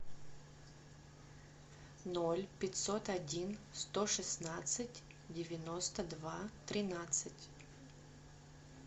ноль пятьсот один сто шестнадцать девяносто два тринадцать